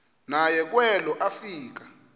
naye kwelo afika